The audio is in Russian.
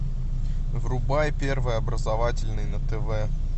врубай первый образовательный на тв